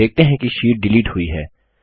आप देखते है कि शीट डिलीट हुई है